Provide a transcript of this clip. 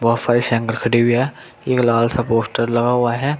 सारी साइकिलें खड़ी हुई है एक लाल सा पोस्टर लगा हुआ है।